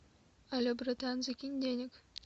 але братан закинь денег